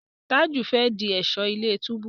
Taju fè dì Ẹ̀ṣọ́ ilé-túbú.